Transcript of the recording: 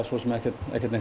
ekkert